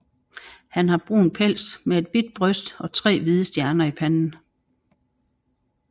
Han har brun pels med et hvidt bryst og tre hvide stjerner i panden